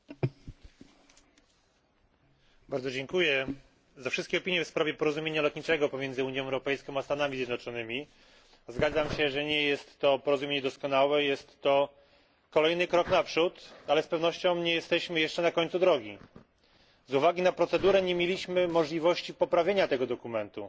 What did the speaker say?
Pani Przewodnicząca! Bardzo dziękuję za wszystkie opinie w sprawie porozumienia lotniczego pomiędzy Unia Europejską a Stanami Zjednoczonymi. Zgadzam się, że nie jest to porozumienie doskonałe, jest to kolejny krok naprzód, ale z pewnością nie jesteśmy jeszcze na końcu drogi. Z uwagi na procedurę nie mieliśmy możliwości poprawienia tego dokumentu.